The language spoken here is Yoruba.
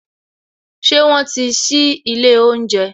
Ṣé wọn ti sí ilé oúnjẹ